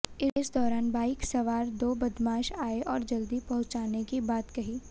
इस दौरान बाइक सवार दो बदमाश आए और जल्दी पहुंचाने की बात कही